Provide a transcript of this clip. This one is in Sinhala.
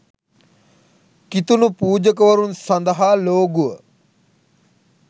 කිතුණු පූජකවරුන් සඳහා ලෝගුව